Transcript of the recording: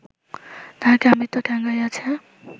তাঁহাকে আমৃত্য ঠ্যাঙ্গাইয়াছে